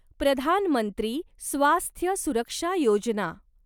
प्रधान मंत्री स्वास्थ्य सुरक्षा योजना